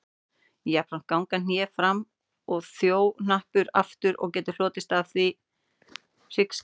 Jafnframt ganga hné fram en þjóhnappar aftur og getur hlotist af því hryggskekkja.